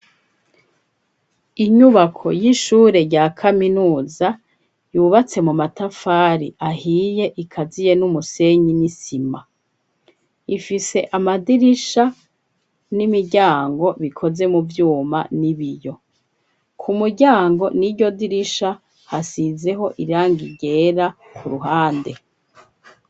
Inyubako, y'ishure rya kaminuza, yubatse mu matafari ahiye, ikaziye n'umusenyi, n'isima; ifise amadirisha, n'imiryango, bikoze mu vyuma, n'ibiyo; ku muryango, n'iryo dirisha, hasizeho irangi ryera, ku ruhande.